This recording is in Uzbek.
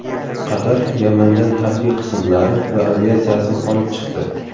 Qatar Yamandan harbiy qismlari va aviatsiyasini olib chiqdi.